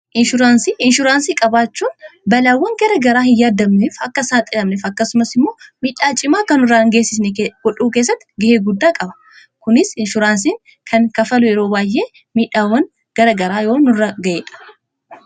Inshuuraansii qabaachuun balaawwan gara garaa hin yaaddamneef akka hin saaxilamnef akkasumas immoo miidhaa cimaa akka nurra hin geessisne godhuu keessatti ga'ee guddaa qaba. Kunis inshuraansiin kan kaffalu yeroo baay'ee miidhaawwan gara garaa yoo nurra ga'eedha.